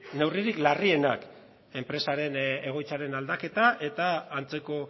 neurririk larrienak enpresaren egoitzaren aldaketa eta antzeko